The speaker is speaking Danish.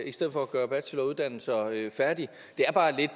i stedet for at gøre bacheloruddannelser færdige det er bare lidt